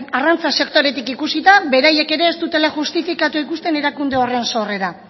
arrantza sektoretik ikusita beraiek ere ez dutela justifikatua ikusten erakunde horren sorrera